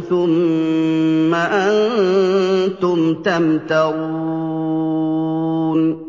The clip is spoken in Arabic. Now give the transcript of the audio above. ۖ ثُمَّ أَنتُمْ تَمْتَرُونَ